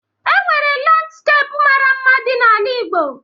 E nwere landskepu mara mma dị n'ala Igbo